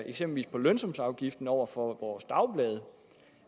på lønsumsafgiften over for vores dagblade